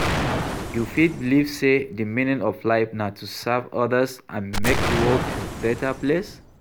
You fit believe say di meaning of life na to serve others and make di world a beta place.